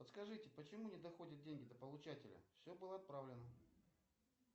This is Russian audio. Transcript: подскажите почему не доходят деньги до получателя все было отправлено